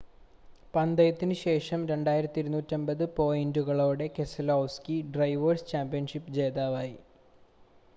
പന്തയത്തിനു ശേഷം 2,250 പോയിൻ്റുകളോടെ Keselowski drivers championship ജേതാവായി